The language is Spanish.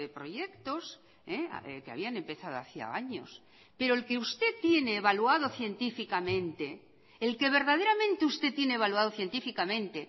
proyectos que habían empezado hacía años pero el que usted tiene evaluado científicamente el que verdaderamente usted tiene evaluado científicamente